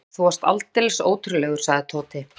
Úff, þú varst aldeilis ótrúlegur, sagði Tóti.